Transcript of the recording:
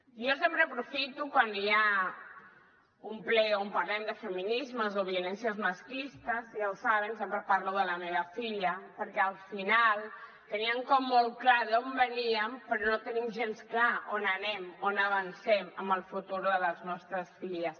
jo sempre aprofito quan hi ha un ple on parlem de feminismes o de violències masclistes ja ho saben sempre parlo de la meva filla perquè al final teníem com molt clar d’on veníem però no tenim gens clar on anem on avancem amb el futur de les nostres filles